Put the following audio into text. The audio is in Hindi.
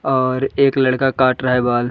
और एक लड़का काट रहा है बाल।